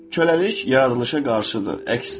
Köləlik yaradılışa qarşıdır, əksdir.